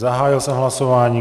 Zahájil jsem hlasování.